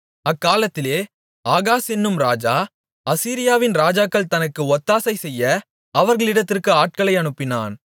அக்காலத்திலே ஆகாஸ் என்னும் ராஜா அசீரியாவின் ராஜாக்கள் தனக்கு ஒத்தாசைசெய்ய அவர்களிடத்திற்கு ஆட்களை அனுப்பினான்